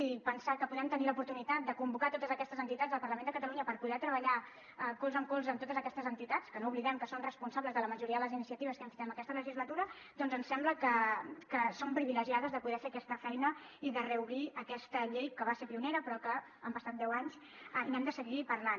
i pensar que podem tenir l’oportunitat de convocar totes aquestes entitats al parlament de catalunya per poder treballar colze a colze amb totes aquestes entitats que no oblidem que són responsables de la majoria de les iniciatives que hem fet en aquesta legislatura doncs ens sembla que som privilegiades de poder fer aquesta feina i de reobrir aquesta llei que va ser pionera però que han passat deu anys i n’hem de seguir parlant